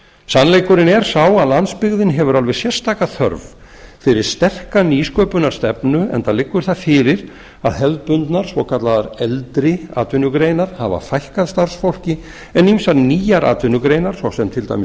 sannleikurinn er sá að landsbyggðin hefur alveg sérstaka þörf fyrir sterka nýsköpunarstefnu enda liggur það fyrir að hefðbundnar svokallaðar eldri atvinnugreinar hafa fækkað starfsfólki en ýmsar nýjar atvinnugreinar ss til dæmis